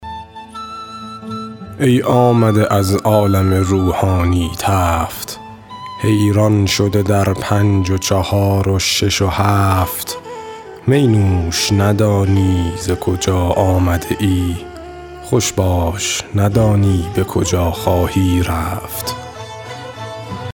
ای آمده از عالم روحانی تفت حیران شده در پنج و چهار و شش و هفت می نوش ندانی ز کجا آمده ای خوش باش ندانی به کجا خواهی رفت